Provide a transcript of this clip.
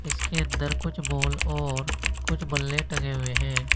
इसके अंदर कुछ बाल और कुछ बल्ले टंगे हुए हैं।